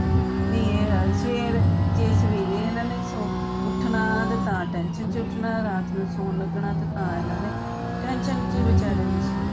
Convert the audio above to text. ਨਹੀਂ ਏ ਹੈ ਸਵੇਰ ਜੇ ਸਵੇਰੇ ਏਨਾ ਨੇ ਸੌਂ ਕੇ ਉੱਠਣਾ ਤੇ ਤਾਂ tension ਚ ਉੱਠਣਾ ਰਾਤ ਨੂੰ ਸੌਣ ਲੱਗਣਾ ਤਾਂ ਇਹਨਾਂ ਨੇ tension ਚ ਹੀ ਵਿਚਾਰਿਆਂ ਨੇ ਸੌਣਾ